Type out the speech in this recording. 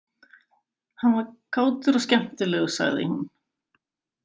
Hann var kátur og skemmtilegur sagði hún.